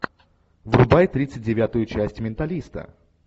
врубай тридцать девятую часть менталиста